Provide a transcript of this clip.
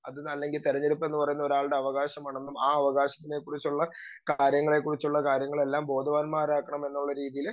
speaker 2 അതല്ലെങ്കി തെരഞ്ഞെടുപ്പ് എന്ന് പറയുന്നത് ഒരാളുടെ അവകാശമാണ് ആ അവകാശത്തെ കുറിച്ചുള്ള കാര്യങ്ങളെക്കുറിച്ചുള്ള കാര്യങ്ങളെല്ലാം ബോധവാന്മാരാക്കണം എന്നുള്ള രീതിയില്